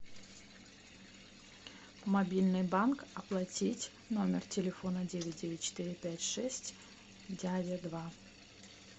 мобильный банк оплатить номер телефона девять девять четыре пять шесть дядя два